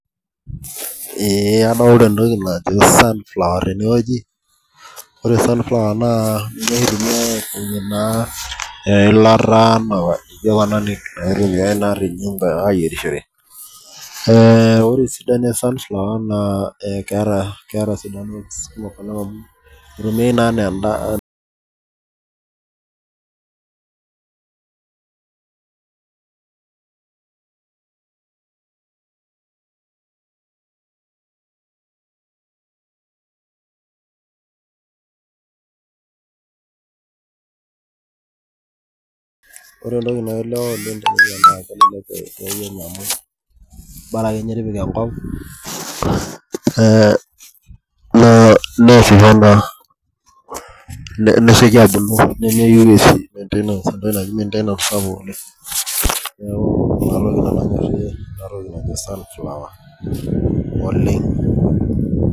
Ee adolita entoki najo sunflower tenewueji ore sunflower na eilata ayierishore lre esidano e sunflower na itumia anaa endaa na inepu bora akeenye tipika enkop nesieki abuku nemeyieu si maintainance sapuk oleng neaku inatoki nanu anyorie enatoki najo sunflower oleng